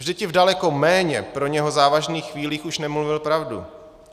Vždyť i v daleko méně pro něho závažných chvílích už nemluvil pravdu.